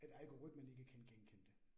At algoritmen ikke kan genkende det